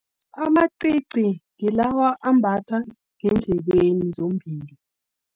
Amacici, ngilawa ambatha ngendlebeni zombili.